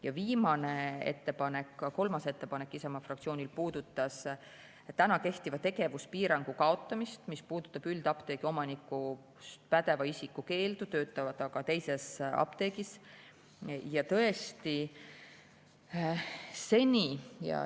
Ja viimane ettepanek, kolmas ettepanek Isamaa fraktsioonilt puudutas praegu kehtiva tegevuspiirangu kaotamist, mis puudutab üldapteegi omanikuks oleva pädeva isiku keeldu töötada ka teises apteegis.